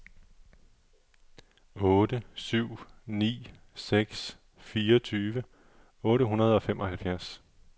otte syv ni seks fireogtyve otte hundrede og femoghalvfjerds